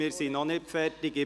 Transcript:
Wir sind noch nicht fertig.